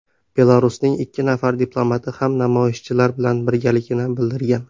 Belarusning ikki nafar diplomati ham namoyishchilar bilan birgaligini bildirgan.